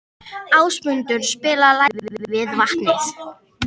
Ásmundur, spilaðu lagið „Við vatnið“.